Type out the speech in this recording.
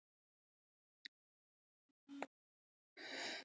Pólitísk átök tímans lituðu vatnið svart